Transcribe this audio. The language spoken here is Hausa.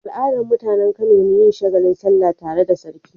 Al'adar mutAnan Kano ne yin shagalin sallah tare da sarki